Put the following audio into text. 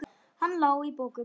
Hann lá í bókum.